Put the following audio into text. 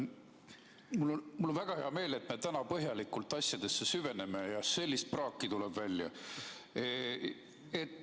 Mul on väga hea meel, et me täna põhjalikult asjadesse süveneme, sest sellist praaki tuleb välja.